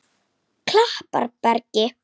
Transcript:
Klapparbergi